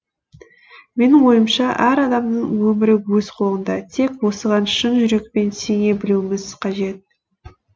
менің ойымша әр адамның өмірі өз қолында тек осыған шын жүрекпен сене білуіміз қажет